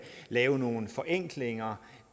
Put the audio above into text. lave nogle forenklinger